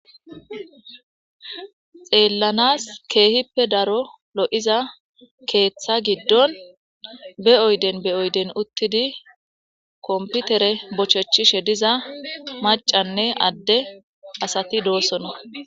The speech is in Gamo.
xeellanas keehippe daro lo7iza keeththa giddon be oyden be oyden uttidi komputere bochechishe diza macanne adde asati doosona